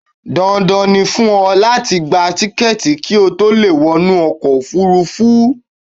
Dandan ni fún ọ láti gba tíkẹ̀ẹ̀ti ki ó to leè wọ inú ọkò òfurufú